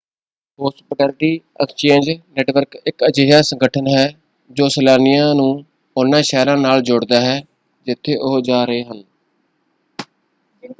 Hospitality exchange network ਇੱਕ ਅਜਿਹਾ ਸੰਗਠਨ ਹੈ ਜੋ ਸੈਲਾਨੀਆਂ ਨੂੰ ਉਨ੍ਹਾਂ ਸ਼ਹਿਰਾਂ ਨਾਲ ਜੋੜਦਾ ਹੈ ਜਿੱਥੇ ਉਹ ਜਾ ਰਹੇ ਹਨ।